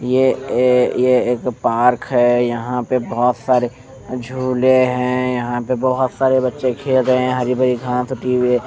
ये एक ये एक पार्क है यहाँ पे बहोत सारे झूले है यहाँ पे बहोत सारे बच्चे खेल रहे है हरी भरी घास उगी हुई है।